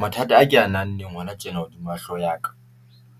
Mathata a ke a nang leng hona tjena hodima hlooho ya ka